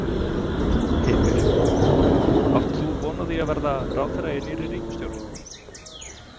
Heimir: Átt þú von á því að verða ráðherra í nýrri ríkisstjórn?